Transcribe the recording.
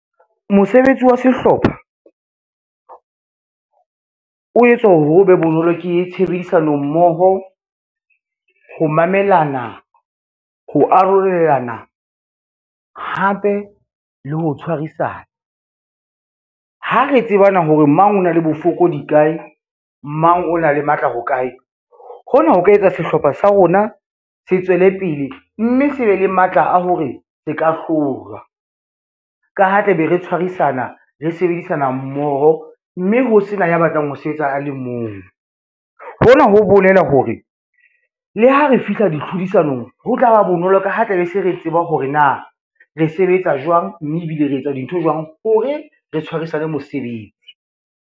Mosebetsi wa sehlopha, o etswa hore ho be bonolo ke tshebedisano mmoho, ho mamelana, ho arolelana hape le ho tshwarisana. Ha re tseba na hore mang o na le bofokodi kae, mang o na le matla ho kae, hona ho ka etsa sehlopha sa rona se tswele pele, mme se be le matla a hore se ka hlolwa. Ka ha tla be re tshwarisana, re sebedisana mmoho, mme ho sena ya batlang ho sebetsa a le mong, hona ho bolela hore le ha re fihla ditlhodisanong ho tla ba bonolo ka ha tla be se re tseba hore na re sebetsa jwang, mme ebile re etsa dintho jwang hore re tshwarisane mosebetsi.